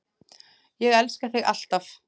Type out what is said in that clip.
Ég elska þig alltaf!